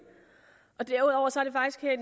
og derudover